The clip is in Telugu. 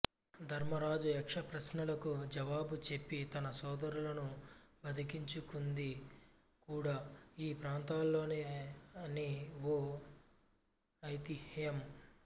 ధర్మరాజు యక్షప్రశ్నలకు జవాబు చెప్పి తన సోదరులను బతికించుకుంది కూడా ఈ ప్రాంతంలోనే అని ఓ ఐతిహ్యం